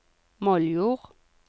Moldjord